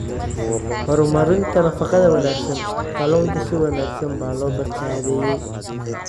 Horumarinta Nafaqada Wanaagsan Kalluunku si wanaagsan baa loo baakadeeyey.